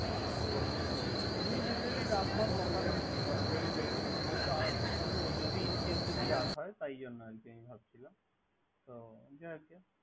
হ্যা এমনি Ganually রাত হওয়ার কথা নয়। হ্যা কিন্তু তবুও যদি Incase যদি রাত হয়। তার জন্য আরকি ভাবছিলাম।